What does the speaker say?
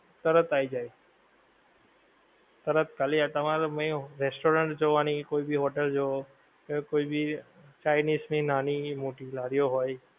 તરત આઈ જાય. તરત ખાલી તમારે main retaurant જોવાની, કોઈ ભી હોટલ જોવો યાં કોઈ ભી ચાઇનિજ ની નાની મોટી લારીઓ હોય.